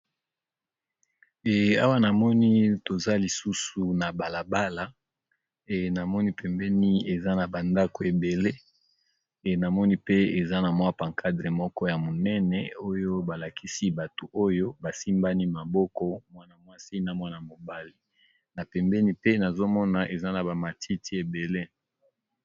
E awa namoni toza lisusu na balabala e namoni pembeni eza na bandako ebele e namoni pe eza na mwa pancadre moko ya monene oyo balakisi bato oyo basimbani maboko mwana mwasi na mwana mobali na pembeni pe nazomona eza na bamatiti ebele.